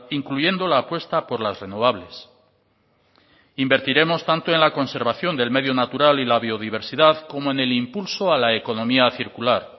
incluyendo la apuesta por las renovables invertiremos tanto en la conservación del medio natural y la biodiversidad como en el impulso a la economía circular